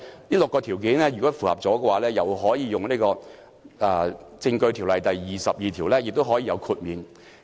如果符合以上6項條件，便可根據《證據條例》第22條獲得豁免。